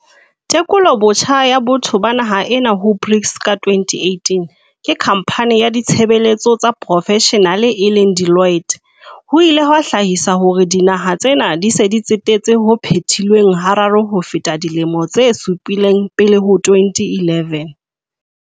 "Tekolobotjha ya botho ba naha ena ho BRICS ka 2018 ke khampane ya tshebe letso tsa profeshenale e leng Deloitte, ho ile ha hlahisa hore dinaha tsena di se di tsetetse ho phetilweng hararo ho feta dilemong tse supileng pele ho 2011".